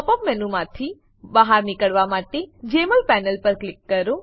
pop up મેનુમાંથી બહાર નીકળવા માટે જમોલ પેનલ પર ક્લિક કરો